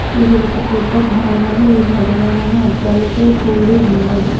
ఇది ఒక పెద్ద భవనము ఈ బుధవారం అద్దాలతో కూడి ఉన్నది.